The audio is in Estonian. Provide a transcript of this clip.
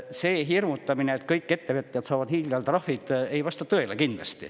See hirmutamine, et kõik ettevõtjad saavad hiigeltrahvid, ei vasta tõele.